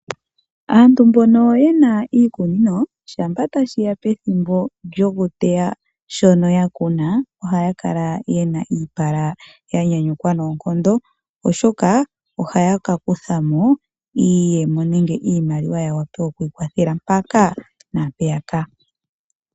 Aantu mbono yena iikunino shampa tashiya pethimbo lyokuteya shono ya kuna ohaya kala yena iipala ya nyanyukwa noonkondo, oshoka ohaya ka kutha iiyemo nenge iimaliwa ya wape okwiikwathela mpaka naampeya ka.